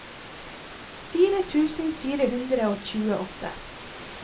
fire tusen fire hundre og tjueåtte